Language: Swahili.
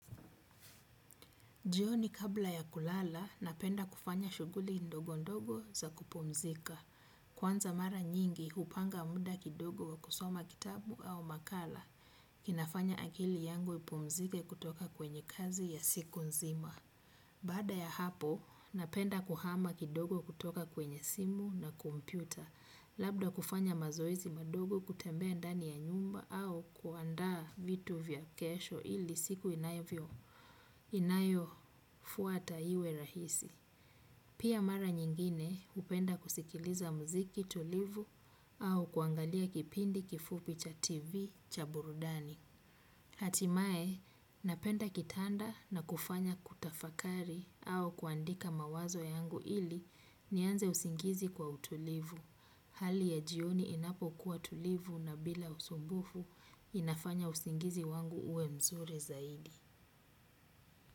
Jioni kabla ya kulala, napenda kufanya shuguli ndogo ndogo za kupumzika. Kwanza mara nyingi, hupanga muda kidogo wa kusoma kitabu au makala. Kinafanya akili yangu ipumzike kutoka kwenye kazi ya siku nzima. Baada ya hapo, napenda kuhama kidogo kutoka kwenye simu na kumpyuta. Labda kufanya mazoezi madogo kutembea ndani ya nyumba au kuandaa vitu vya kesho ili siku inayofuata iwe rahisi. Pia mara nyingine hupenda kusikiliza mziki tulivu au kuangalia kipindi kifupi cha TV cha burudani. Hatimae napenda kitanda na kufanya kutafakari au kuandika mawazo yangu ili nianze usingizi kwa utulivu. Hali ya jioni inapo kuwa tulivu na bila usumbufu inafanya usingizi wangu uwe mzuri zaidi.